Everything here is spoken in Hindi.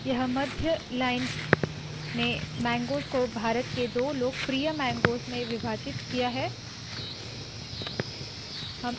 यह मध्य लाइन ने मैंगगोज़ को भारत के दो लोकप्रिय मैंगगोज़ में विभाजित किया है